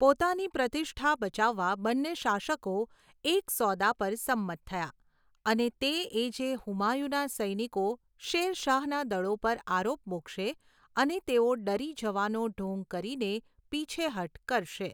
પોતાની પ્રતિષ્ઠા બચાવવા બંને શાસકો એક સોદા પર સંમત થયા, અને તે એ જે હુમાયુના સૈનિકો શેર શાહના દળો પર આરોપ મૂકશે અને તેઓ ડરી જવાનો ઢોંગ કરીને પીછેહઠ કરશે.